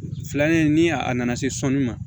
Filanan in ni a nana se sɔni ma